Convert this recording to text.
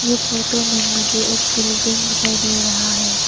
ये फोटो में मुझे एक बिल्डिंग दिखाई दे रहा है।